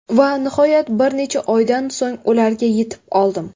Va nihoyat bir necha oydan so‘ng, ularga yetib oldim.